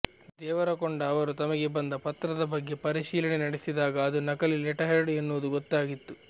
ದೇವರಕೊಂಡ ಅವರು ತಮಗೆ ಬಂದ ಪತ್ರದ ಬಗ್ಗೆ ಪರಿಶೀಲನೆ ನಡೆಸಿದಾಗ ಅದು ನಕಲಿ ಲೆಟರ್ಹೆಡ್ ಎನ್ನುವುದು ಗೊತ್ತಾಗಿತ್ತು